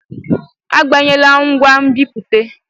Agbanyela ngwa nbipute!